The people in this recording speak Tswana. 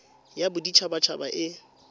ya bodit habat haba e